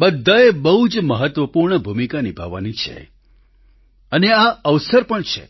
બધાએ બહુ જ મહત્વપૂર્ણ ભૂમિકા નિભાવવાની છે અને આ અવસર પણ છે